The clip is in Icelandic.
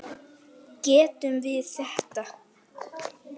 Getum við þetta?